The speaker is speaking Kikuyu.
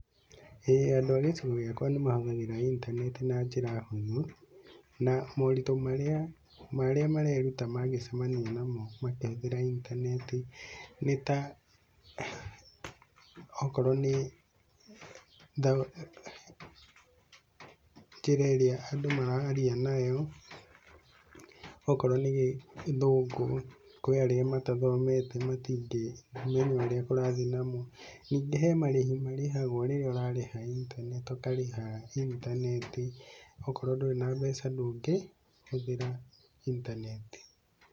ĩĩ andũ a gĩcigo gĩakwa nĩ mahũthagĩra intaneti na njĩra hũthũ, na moritũ marĩa marĩa mareruta mangĩcamania namo makĩhũthĩta intaneti nĩ ta, okorwo nĩ njĩra ĩrĩa andũ mararia nayo, okorwo nĩ gĩthũngũ, kũrĩ arĩa matathomete matingĩmenya ũrĩa kũrathiĩ namo, ningĩ he marĩhi marĩhagwo rĩrĩa ũrarĩha intaneti ũkarĩha intaneti, okorwo ndũrĩ na mbeca ndũngĩ hũthĩra intaneti